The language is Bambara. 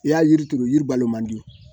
I y'a yiri turu yiri balo man di